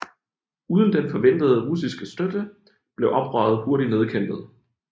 Uden den forventede russiske støtte blev oprøret hurtigt nedkæmpet